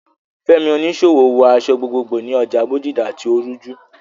Fẹ́mi, oníṣòwò, wọ aṣọ gbogbogbò ní ọjà Bodija tí ó ń rújú.